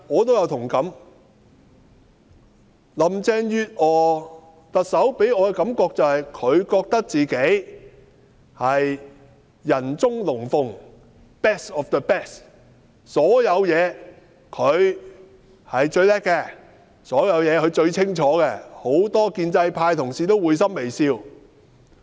行政長官林鄭月娥給我的感覺是，她認為自己是人中龍鳳 ，best of the best， 她在各方面都是最出色的，所有事情她都最清楚，對此許多建制派同事都會心微笑。